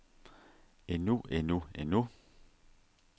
endnu endnu endnu